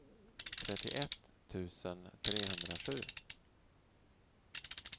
trettioett tusen trehundrasju